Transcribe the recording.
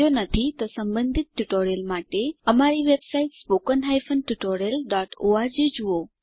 જો નથી તો સંબંધીત ટ્યુટોરીયલો માટે અમારી વેબસાઈટ httpspoken tutorialorg જુઓ